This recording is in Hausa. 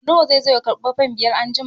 Nura zai zo ya karɓi fan biyar anjima.